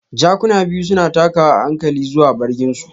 Jakuna biyu suna takawa a hankali zuwa bargin su.